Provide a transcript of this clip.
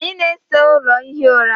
anyị na-ese ụlọ ihi ụra